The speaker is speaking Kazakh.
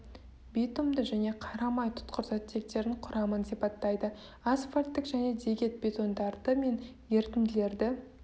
битумды және қарамай тұтқыр заттектерінің құрамын сипаттайды асфальттік және дегет бетондарды мен ерітінділері